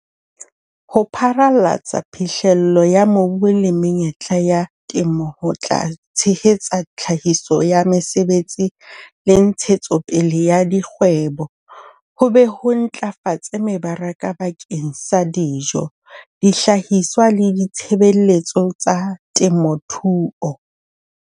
Ho pharalatsa phihlello ya mobu le menyetla ya temo ho tla tshehetsa tlhahiso ya mesebetsi le ntshetsopele ya dikgwebo, ho be ho ntlafatse mebaraka bakeng sa dijo, dihlahiswa le ditshebeletso tsa temothuo.